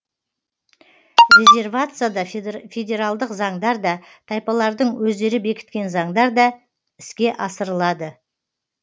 резервацияда федералдық заңдар да тайпалардың өздері бекіткен заңдар да іске асырылады